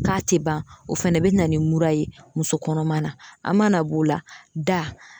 K'a tɛ ban o fana bɛ na ni mura ye muso kɔnɔma na, a mana b'o la da.